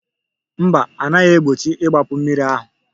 Mba, a naghị egbochi igbapu mmiri ahụ